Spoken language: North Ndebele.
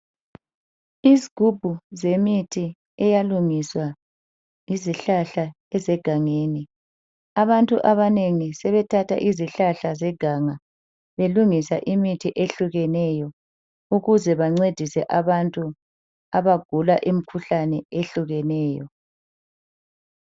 Isigubhu zemithi eyalungiswa yizihlahla ezegangeni. Abantu abanengi sebethatha izihlahla zeganga belungisa imithi ehlukeneyo ukuze bancedise abantu abagula imkhuhlane ehlukeneyo.